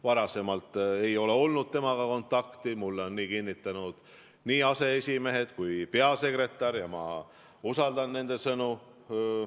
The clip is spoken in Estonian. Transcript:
Varem ei ole olnud temaga kontakti, mulle on nii kinnitanud nii aseesimehed kui ka peasekretär ja ma usaldan nende sõnu.